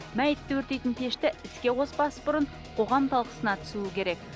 мәйітті өрттейтін пешті іске қоспас бұрын қоғам талқысына түсуі керек